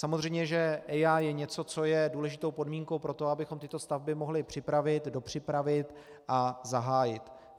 Samozřejmě že EIA je něco, co je důležitou podmínkou pro to, abychom tyto stavby mohli připravit, dopřipravit a zahájit.